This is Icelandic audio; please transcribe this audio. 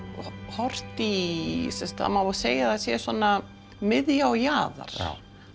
horft í það má segja að það sé svona miðja og jaðar